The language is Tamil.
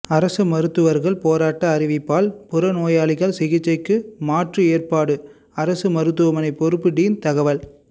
அரசு மருத்துவர்கள் போராட்ட அறிவிப்பால் புறநோயாளிகள் சிகிச்சைக்கு மாற்று ஏற்பாடு அரசு மருத்துவமனை பொறுப்பு டீன் தகவல்